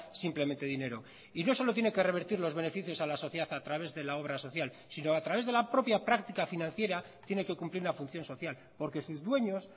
simplemente dinero y no solo tiene que revertir los beneficios a la sociedad a través de la obra social sino a través de la propia práctica financiera tiene que cumplir una función social porque sus dueños